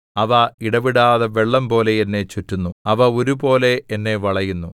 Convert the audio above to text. അവ ഇടവിടാതെ വെള്ളംപോലെ എന്നെ ചുറ്റുന്നു അവ ഒരുപോലെ എന്നെ വളയുന്നു